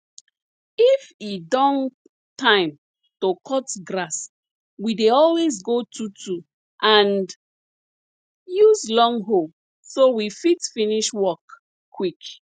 if e don time to cut grass we dey always go twotwo and use long hoe so we fit finish work quick